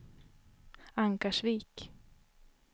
Ankarsvik